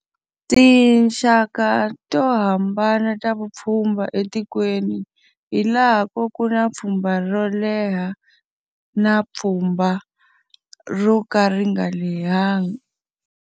Tinxaka to hambana ta vupfhumba etikweni, hi laha ko ku na pfhumba ro leha na pfhumba ro ka ri nga lehenga.